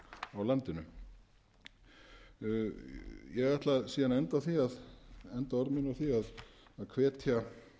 á landinu ég ætla síðan að enda orð mín á því að hvetja